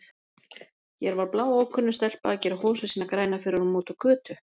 Hér var bláókunnug stelpa að gera hosur sínar grænar fyrir honum úti á götu!